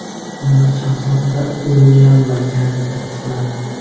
Buni shahzodalar Uilyam va Garri tasdiqladi.